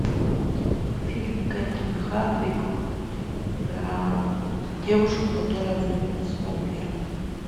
фильм кэтрин хардвик про девушку которая влюбилась в вампира